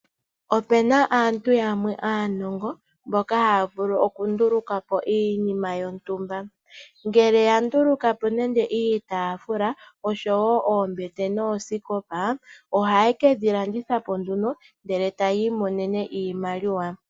Opuna aantu yamwe anongo mboka haya vulu oku ndulukapo iinima yontumba, ngele ya ndulukapo nande iitafula osho wo oombete noosikopa, oha ye kedhi landithapo nduno ndele etaya iimonene iimaliwa.